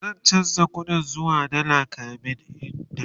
zan chanza ƙuɗin zuwa dalla kamin in tafi